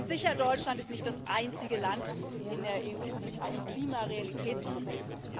Sicher, Deutschland ist nicht das einzige Land in der EU mit einem Klimarealitätsproblem.